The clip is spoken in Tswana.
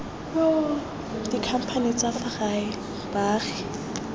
dikhamphane tsa fa gae baagi